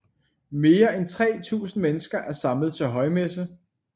Mere end 3000 mennesker er samlet til højmesse